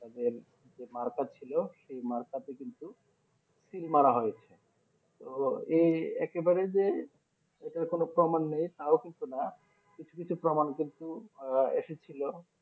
তাদের যে মার্কার ছিল সেই মারফতে কিন্তু শীল মারা হয়েছে তো এই একেবারেই যে এটার কোনো প্রমান নেই তাও কিন্তু না কিছু কিছু প্রমান কিন্তু এসেছিলো